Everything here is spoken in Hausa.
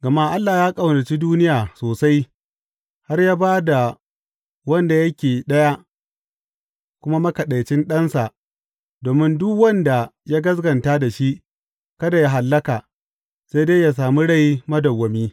Gama Allah ya ƙaunaci duniya sosai har ya ba da wanda yake Ɗaya kuma Makaɗaicin Ɗansa domin duk wanda ya gaskata da shi kada yă hallaka sai dai yă sami rai madawwami.